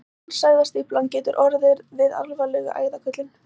Kransæðastífla getur orðið við alvarlega æðakölkun.